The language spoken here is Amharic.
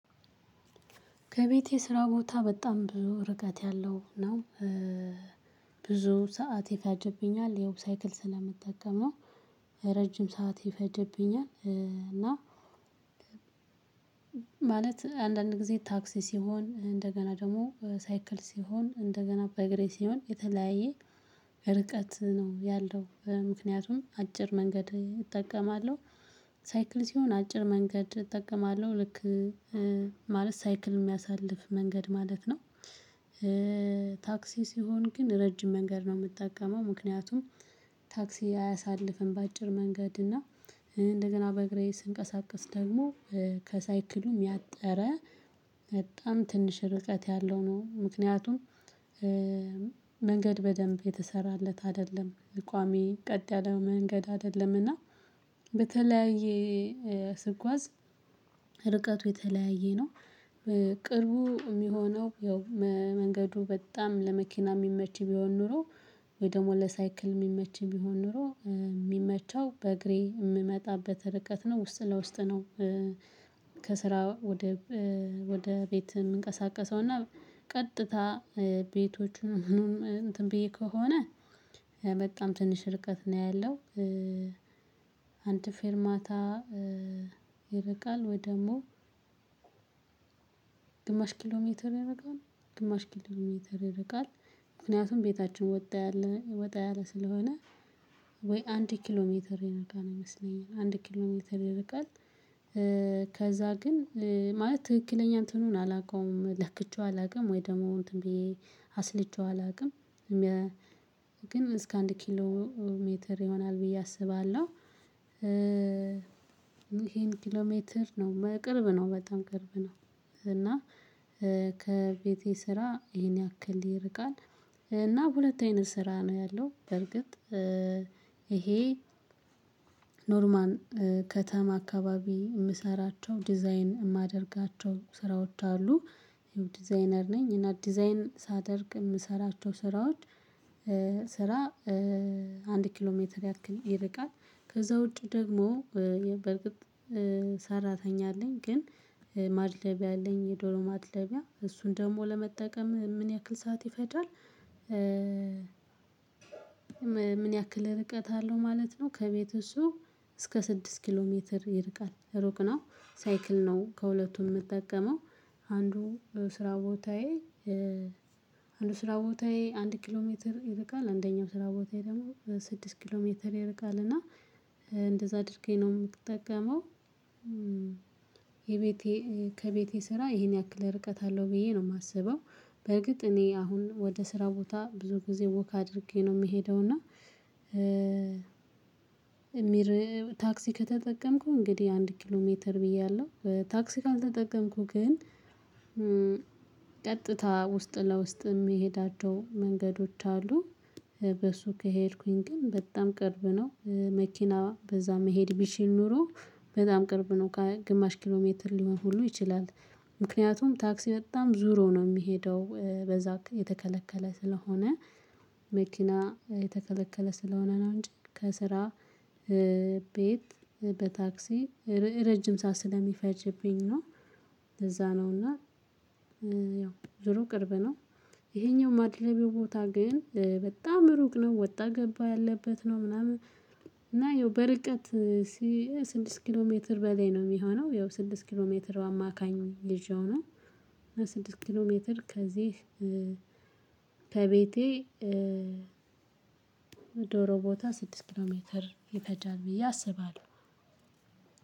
ከቤቴ ስራ ቦታ በጣም ብዙ ርቀት ያለው ነው። ብዙ ሰዓት ይፈጅብኛል ያው ሳይክል ስለምጠቀም ነው። ረጅም ሰዓት ይፈጀብኛል። እና ማለት አንዳንድ ጊዜ ታክሲ ሲሆን እንደገና ደግሞ ሳይክል ሲሆን እንደገና በእግሬ ሲሆን የተለያየ ርቀት ነው ያለው ምክንያቱም አጭር መንገድ እጠቀማለሁ ሳይክል ሲሆን አጭር መንገድ እጠቀማለሁ ልክ ማለት ሳይክል የሚያሳልፍ መንገድ ማለት ነው። ታክሲ ሲሆን ግን ረጅም መንገድ ነው የምጠቀመው ምክንያቱም ታክሲ አያሳልፍም። በአጭር መንገድ እና እንደገና በእግሬ ስንቀሳቀስ ደግሞ ከሳይክሉም ያጠረ በጣም ትንሽ ርቀት ያለው ነው። ምክንያቱም መንገድ በደንብ የተሰራለት አይደለም ቋሚ ቀጥ ያለ መንገድ አይደለምና። በተለያየ ስጉዝ ርቀቱ የተለያየ ነው። ቅርቡ የሚሆነው ያው መንገዱ በጣም ለመኪና ሚመች ቢሆን ኖሮ ወይ ደግሞ ለሳይክል የሚመች ቢሆን ኖሮ የሚመቸው በእግሬ የምመጣበት ርቀት ነው ውስጥ ለውስጥ ነው። ከስራ ወደ ወደ ቤት የምንቀሳቀሰው እና ቀጥታ ቤቶችን ምኑን እንትን ብዬ ከሆነ በጣም ትንሽ ርቀት ነው ያለው። አንድ ፌርማታ ይርቃል ወይ ደግሞ ኪሎ ሜትር ይርቃል ግማሽ ኪሎ ሜትር ይርቃል። ምክንያቱም ቤታችን ወጣ ያለ ስለሆነ ወይ አንድ ኪሎ ሜትር ይርቃል ይመስለኛል አንድ ኪሎ ሜትር ይርቃል። ከዛ ግን ማለት ትክክለኛ እንትኑን አላውቀውም ለክቼው አላውቀውም ወይ ደግሞ እንትን ብዬ አስልቼው አላውቅም። ግን እስከ አንድ ኪሎ ሜትር ይሆናል ብዬ አስባለሁ። ይሄን ኪሎ ሜትር ነው ቅርብ ነው በጣም ቅርብ ነው። እና ከቤቴ ስራ ይሄን ያክል ይርቃል። እና በሁለት አይነት ስራ ነው ያለው በርግጥ ይሄ ኖርማን ከተማ አካባቢ የምሰራቸው ዲዛይን የማደርጋቸው ስራዎች አሉ። ዲዛይነር ነኝ እና ዲዛይን ሳደርግ የምሰራቸው ስራዎች። ስራ አንድ ኪሎ ሜትር ያክል ይርቃል። ከዛ ውጪ ደግሞ በእርግጥ ሰራተኛ አለኝ ግን ማድለቢያ አለኝ የዶሮ ማድለሚያ እሱን ደግሞ ለመጠቀም ምን ያክል ሰዓት ይፈጃል? ምን ያክል ርቀት አለው ማለት ነው ከቤቱ እሱ እስከ ስድስት ኪሎ ሜትር ይርቃል ሩቅ ነው። ሳይክል ነው ከሁለቱም የምጠቀመው አንዱ ስራ ቦታዬ። አንዱ ስራ ቦታዬ አንድ ኪሎ ሜትር ይርቃል አንደኛው ስራ ቦታዬ ደግሞ ስድስት ኪሎ ሜትር ይርቃል እና እንደዛ አድርጌ ነው የምትጠቀመው። የቤቴ ከቤቴ ስራ ይሄን ያክል ርቀት አለው ብዬ ነው የማስበው። በርግጥ እኔ አሁን ወደ ስራ ቦታ ብዙ ጊዜ ወክ አድርጌ ነው የምሄደው እና። ታክሲ ከተጠቀምኩ እንግዲህ አንድ ኪሎ ሜትር ብያለሁ ታክሲ ካልተጠቀምኩ ግን ቀጥታ ውስጥ ለውስጥ የሚሄድ የሚሄዳቸው መንገዶች አሉ። በሱ ከሄድኩኝ ግን በጣም ቅርብ ነው መኪና በዛ መሄድ ቢችል ኖሮ በጣም ቅርብ ነው ግማሽ ኪሎ ሜትር ሊሆን ሁሉ ይችላል። ምክንያቱም ታክሲ በጣም ዙሮ ነው የሚሄደው በዛ የተከለከለ ስለሆነ መኪና የተከለከለ ስለሆነ ነው እንጂ ከስራ ቤት በታክሲ ረጅም ሰዓት ስለሚፈጅብኝ ነው። ለዛ ነው እና ያው ዙሮ ቅርብ ነው። ይሄኛው ማድልብያው ቦታ ግን በጣም ሩቅ ነው ወጣ ገባ ያለበት ነው ምናምን። እና ይኸው በርቀት ስድስት ኪሎ ሜትር በላይ ነው የሚሆነው ያው ስድስት ኪሎ ሜትር በአማካኝ ይዤው ነው። ስድስት ኪሎ ሜትር ከዚህ ከቤቴ ዶሮ ቦታ ስድስት ኪሎ ሜትር ይፈጃል ብዬ አስባለሁ።